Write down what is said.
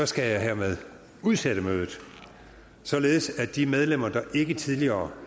skal jeg hermed udsætte mødet således at de medlemmer der ikke tidligere